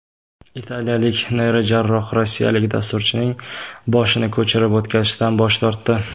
Italiyalik neyrojarroh rossiyalik dasturchining boshini ko‘chirib o‘tkazishdan bosh tortdi.